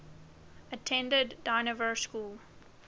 attended dynevor school